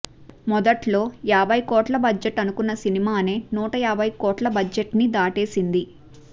మొదట్లో యాభై కోట్ల బడ్జెట్ అనుకున్న సినిమానే నూట యాభై కోట్ల బడ్జెట్ని దాటేసింది